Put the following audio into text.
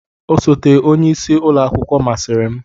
Osote onye isi ụlọ akwụkwọ masịrị m.